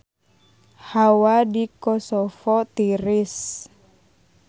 Hawa di Kosovo tiris